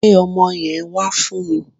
Gbe ọmọ yẹn wá fún mi